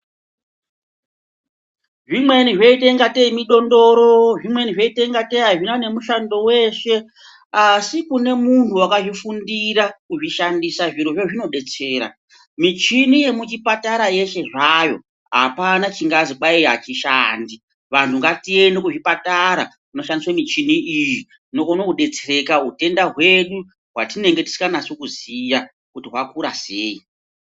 Zvimweni zvoita kungatei mudondoro, zvimweni zvoita kungatei azvina nemushando weshe asi kune muntu wakazvifundira kuzvishandisa zvirozvo zvinodetsera. Michini yemuchipatara yeshe zvayo apana chingazi kwayi achishandi. Vanhu ngatiende kuzvipatara kunoshandiswa michini iyi tinokona kudetsereka utenda hwedu hwatinenge tisingaziyi kuti hwakura sei.